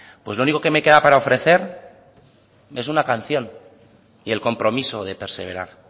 pues lo único que me queda para ofrecer es una canción y el compromiso de perseverar